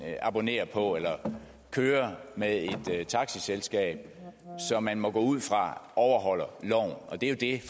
abonnerer på eller kører med et taxaselskab som man må gå ud fra overholder loven og det er